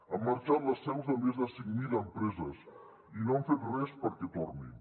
han marxat les seus de més de cinc mil empreses i no han fet res perquè tornin